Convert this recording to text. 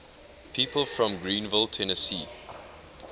people from greeneville tennessee